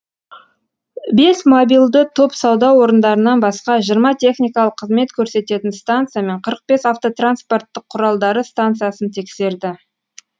бес мобилді топ сауда орындарынан басқа жиырма техникалық қызмет көрсететін станция мен қырық бес автотранспорттық құралдары станциясын тексерді